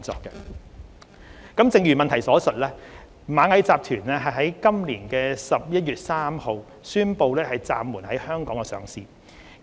正如主體質詢所述，螞蟻集團在今年11月3日宣布暫緩在香港上市。